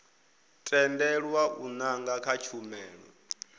tendelwa u nanga kha tshumelo